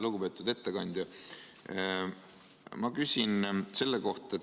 Lugupeetud ettekandja!